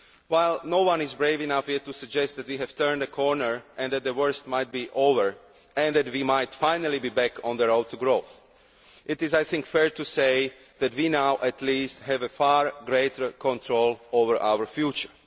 While no one is brave enough yet to suggest that we have turned the corner, that the worst might be over and that we might finally be back on the road to growth, I think it is fair to say that we now at least have far greater control over our future.